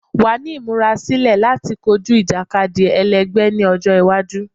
Wa ni imurasilọ lati koju ijakadi ẹlẹgbẹ ni ọjọ iwaju